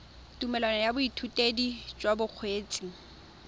tumelelo ya boithutedi jwa bokgweetsi